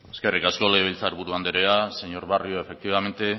eskerrik asko legebiltzar buru anderea señor barrio efectivamente